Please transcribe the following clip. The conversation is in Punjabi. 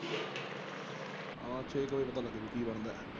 ਆ ਛੇ ਕੁ ਵਜੇ ਪਤਾ ਲੱਗੂ ਕੀ ਗੱਲ ਏ?